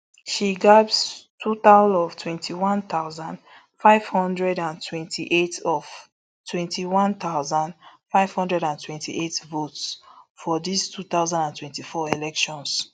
she gbab total of twenty-one thousand, five hundred and twenty-eight of twenty-one thousand, five hundred and twenty-eight votes for dis two thousand and twenty-four elections